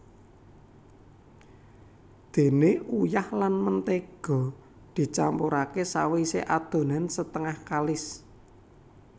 Déné uyah lan mentéga dicampuraké sawisé adonan setengah kalis